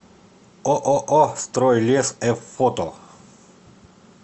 ооо стройлес ф фото